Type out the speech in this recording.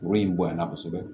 Woro in bonyana kosɛbɛ